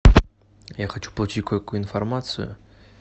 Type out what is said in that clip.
я хочу получить кое какую информацию